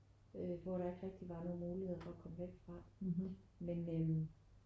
Øh hvor der ikke rigtigt var nogen muligheder for at komme væk fra men øh